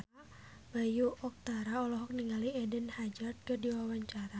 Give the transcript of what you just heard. Bayu Octara olohok ningali Eden Hazard keur diwawancara